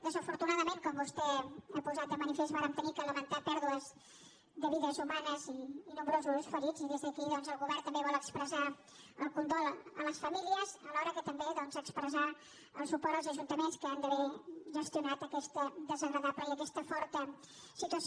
desafortunadament com vostè ha posat de manifest vàrem haver de lamentar pèrdues de vides humanes i nombrosos ferits i des d’aquí el govern també vol expressar el condol a les famí·lies alhora que també expressar el suport als ajunta·ments que han d’haver gestionat aquesta desagradable i aquesta forta situació